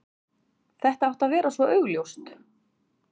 Þetta átti að vera svo augljóst.